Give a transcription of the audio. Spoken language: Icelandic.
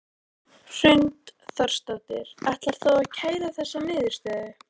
Hrund Þórsdóttir: Ætlar þú að kæra þessa niðurstöðu?